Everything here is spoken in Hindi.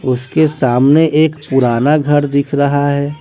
उसके सामने एक पुराना घर दिख रहा है।